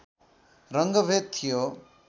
रङ्गभेद थियो